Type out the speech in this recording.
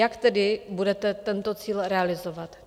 Jak tedy budete tento cíl realizovat?